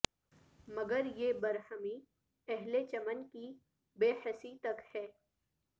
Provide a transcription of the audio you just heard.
مگر یہ برہمی اہل چمن کی بے حسی تک ہے